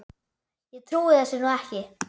Ég trúi þessu nú ekki!